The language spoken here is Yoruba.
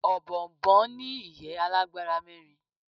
òbòònbòn ní ìyẹ́ alágbára mẹ́rin